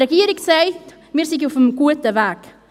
Die Regierung sagt, wir seien auf dem guten Weg.